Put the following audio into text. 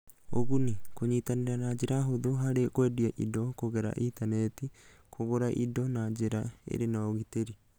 Ũguni: Kũnyitanĩra na njĩra hũthũ harĩ kwendia indo kũgerera Intaneti, kũgũrana indo na njĩra ĩrĩ na ũgitĩri